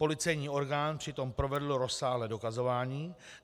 Policejní orgán přitom provedl rozsáhlé dokazování.